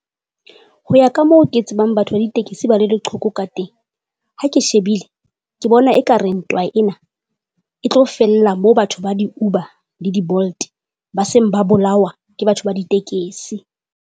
Ho ya ka moo ke tsebang batho ba ditekesi ba le leqhoko ka teng, ha ke shebile ke bona ekare ntwa ena e tlo fella moo batho ba di-Uber le di-Bolt ba seng ba bolawa ke batho ba ditekesi.